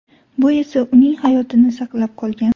Bu esa uning hayotini saqlab qolgan.